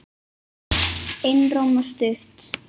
Einróma stutt.